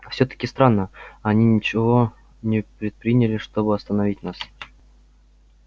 всё-таки странно они ничего не предприняли чтобы остановить нас